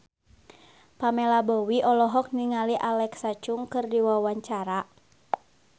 Pamela Bowie olohok ningali Alexa Chung keur diwawancara